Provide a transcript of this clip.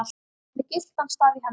með gyltan staf í hendi.